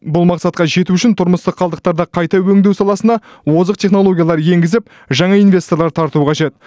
бұл мақсатқа жету үшін тұрмыстық қалдықтарды қайта өңдеу саласына озық технологиялар енгізіп жаңа инвесторлар тарту қажет